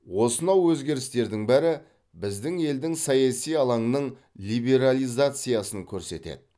осынау өзгерістердің бәрі біздің елдің саяси алаңның либерализациясын көрсетеді